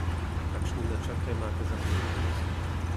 Kakšne načrte imate za prihodnost?